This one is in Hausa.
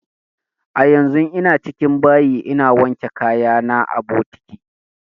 A yanzun ina cikin bayi ina wanke kaya na a bokiti